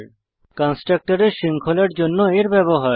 কন্সট্রকটরের শৃঙ্খলার জন্য এর ব্যবহার